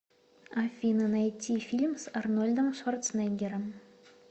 афина найти фильм с арнольдом шварценеггером